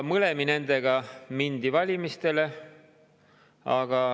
Mõlema nendega mindi valimistele.